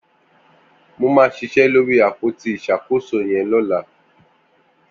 Mó mà ṣiṣẹ lóri ápótí iṣákósó yẹn lọ̀lá